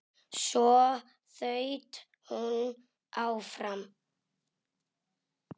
Svo þaut hún áfram.